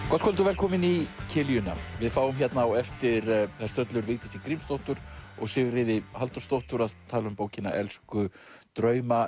gott kvöld og velkomin í kiljuna við fáum hérna á eftir þær stöllur Vigdísi Grímsdóttur og Sigríði Halldórsdóttur að tala um bókina elsku drauma